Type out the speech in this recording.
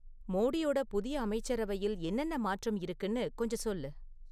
மோடியோட புதிய அமைச்சரவையில் என்னென்ன மாற்றம் இருக்குன்னு கொஞ்சம் சொல்லு